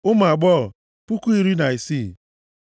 ụmụ agbọghọ, puku iri na isii (16,000).